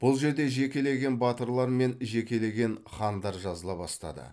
бұл жерде жекелеген батырлар мен жекелеген хандар жазыла бастады